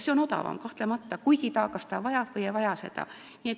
See on odavam, kahtlemata, kuid kas ta seda vajab või ei vaja?